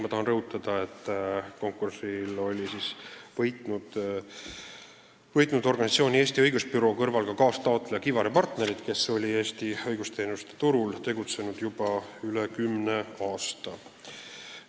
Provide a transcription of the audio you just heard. Ma tahan rõhutada, et konkursil oli võitnud Eesti Õigusbüroo kõrval ka kaastaotleja Kivar & Partnerid, kes on Eesti õigusteenuste turul tegutsenud juba üle kümne aasta.